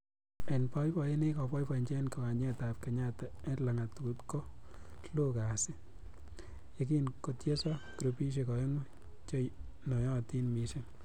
En boiboyet nekiboiboenyin en kiwanjetab Kenyatta en langatutab ko loo kasii, yekin kotieso grupisiek o'engu che noyotin missing.